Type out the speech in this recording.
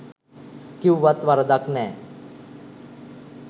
කිව්වත් වරදක් නෑ